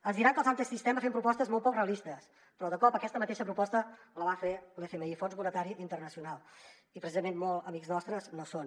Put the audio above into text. ens poden dir que els antisistema fem propostes molt poc realistes però de cop aquesta mateixa proposta la va fer l’fmi el fons monetari internacional i precisament molt amics nostres no són